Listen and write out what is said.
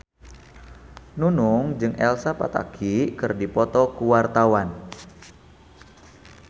Nunung jeung Elsa Pataky keur dipoto ku wartawan